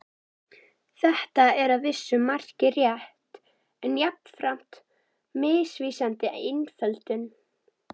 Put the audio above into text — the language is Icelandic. Þetta er að vissu marki rétt en jafnframt misvísandi einföldun.